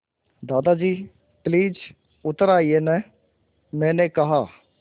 दादाजी प्लीज़ उतर आइये न मैंने कहा